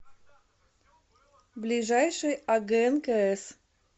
ближайший агнкс